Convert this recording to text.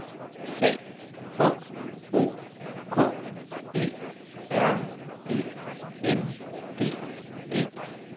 C H O K E R E N D E